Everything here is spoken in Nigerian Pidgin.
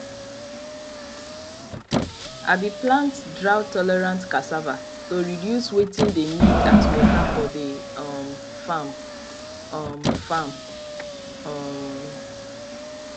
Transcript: i be plant drought tolerant cassava to reduce wetin de need as water for de um farm um farm um